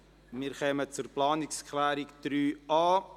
Wir kommen zu Planungserklärung 3.a.